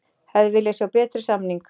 Hefði viljað sjá betri samning